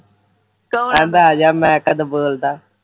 ਕਹਿੰਦਾ ਆਜਾ ਮੈਂ ਕਦ ਬੋਲਦਾ